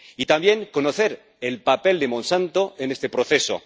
Y, también, conocer el papel de Monsanto en este proceso.